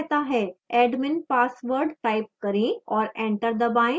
admin password type करें और enter दबाएं